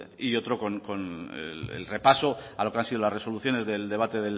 y otro con el repaso a lo que han sido las resoluciones del debate